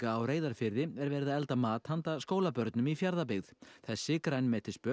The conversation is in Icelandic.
á Reyðarfirði er verið að elda mat handa skólabörnum í Fjarðabyggð þessi